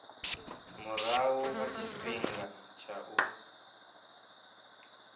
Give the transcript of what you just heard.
murahu ha tshifhinga tsha u